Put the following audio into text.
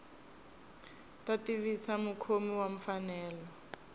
ta tivisa mukhomi wa mfanelo